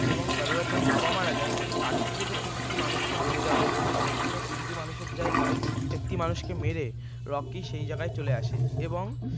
এবং গাড়ুরার যখন বাবা মারা যায় একটি কালীপুজোতে তিনটি মানুষকে বলি দেওয়া হবে তো সেখানে তিনটি মানুষের জায়গায় একটি মানুষকে মেরে রকি সেই জায়গায় চলে আসে এবং